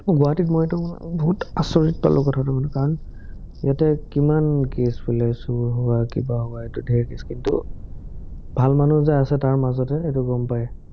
গুৱাহাটীত মই এইটো বহুত আচৰিত পালো কথাটো শুনি কাৰণ ইয়াতে কিমান কেচ বোলে চুৰ হোৱা, কিবা হোৱা, ধেৰ কেচ কিন্তু, ভাল মানুহ যে আছে তাৰ মাজতে, এটো গম পায়।